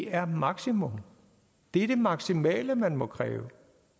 er maksimum det er det maksimale man må kræve